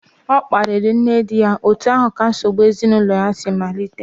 Ọ kparịrị nne di ya, otu ahụ ka nsogbu ezinụlọ si malite